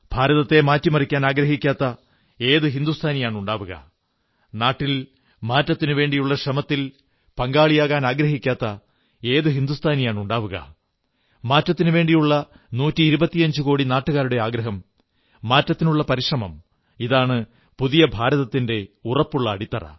ഭാരതത്തെ മാറ്റിമറിക്കാനാഗ്രഹിക്കാത്ത ഏതു ഹിന്ദുസ്ഥാനിയാണുണ്ടാവുക നാട്ടിൽ മാറ്റത്തിനുവേണ്ടിയുള്ള ശ്രമത്തിൽ പങ്കാളിയാകാനാഗ്രഹിക്കാത്ത ഏതു ഹിന്ദുസ്ഥാനിയാണുണ്ടാവുക മാറ്റത്തിനുവേണ്ടിയുള്ള നൂറ്റിയിരുപത്തിയഞ്ചുകോടി നാട്ടുകാരുടെ ആഗ്രഹം മാറ്റത്തിനുള്ള പരിശ്രമം ഇതാണ് പുതിയ ഭാരതത്തിന്റെ ഉറപ്പുള്ള അടിത്തറ